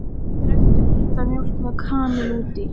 Drekktu heita mjólk með kanil út í.